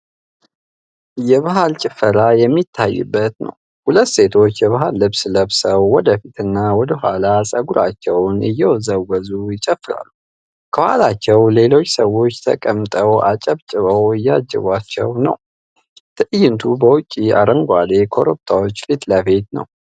የባህል ጭፈራ የሚታይበት ነው። ሁለት ሴቶች የባህል ልብስ ለብሰው ወደፊት እና ወደ ኋላ ፀጉራቸውን እየወዘወዙ ይጨፍራሉ ። ከኋላቸው ሌሎች ሰዎች ተቀምጠው አጨብጭበው እያጅቧቸው ነው። ትዕይንቱ በውጪ አረንጓዴ ኮረብታዎች ፊት ለፊት ላይ ነው።